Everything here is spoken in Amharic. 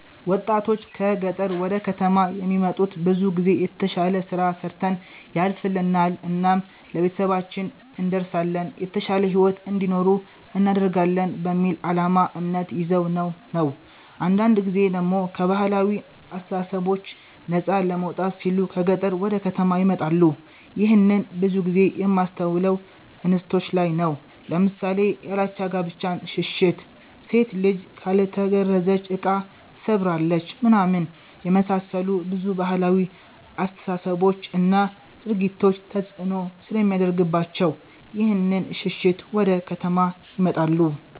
ወጣቶች ከ ገጠር ወደ ከተማ የሚመጡት ብዙ ጊዜ የተሽለ ስራ ሰርተን ያልፍልናል እናም ለቤተሰባችን እንደርሳለን የተሻለ ሂዎት እንዲኖሩ እናደርጋለን በሚል አላማ እምነት ይዘው ነው ነው። አንዳንድ ጊዜ ደሞ ከ ባህላዊ አስተሳሰቦች ነፃ ለመውጣት ሲሉ ከ ገጠር ወደ ከተማ ይመጣሉ ይህንን ብዙ ጊዜ የማስተውለው እንስቶች ላይ ነው ለምሳሌ ያላቻ ጋብቻን ሽሽት፣ ሴት ልጅ ካልተገረዘች እቃ ትሰብራለች ምናምን የመሳሰሉ ብዙ ባህላዊ አስተሳሰቦች እና ድርጊቶች ተፅእኖ ስለሚያደርግባቸው ይህንን ሽሽት ወደ ከተማ ይመጣሉ።